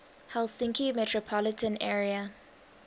helsinki metropolitan area